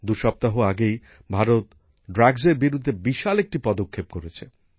দুসপ্তাহ আগেই ভারত মাদকের বিরুদ্ধে বিশাল একটি পদক্ষেপ নিয়েছে